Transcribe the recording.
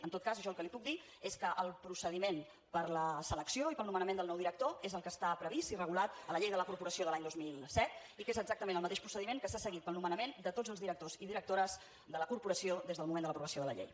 en tot cas jo el que li puc dir és que el procediment per a la selecció i per al nomenament del nou director és el que està previst i regulat a la llei de la corporació de l’any dos mil set i que és exactament el mateix procediment que s’ha seguit per al nomenament de tots els directors i directores de la corporació des del moment de l’aprovació de la llei